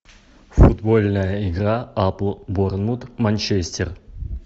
футбольная игра апл борнмут манчестер